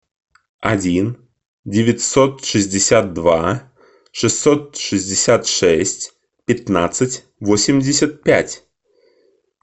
один девятьсот шестьдесят два шестьсот шестьдесят шесть пятнадцать восемьдесят пять